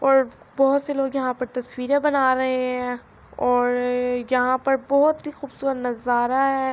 اور بہت سے لوگ یہا پے تصویرے بنا رہے ہے اور یہا پر بہت ہی قوبصورت نظارا ہے